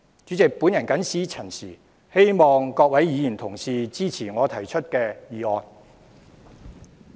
主席，我謹此陳辭。希望各位議員支持我提出的議案。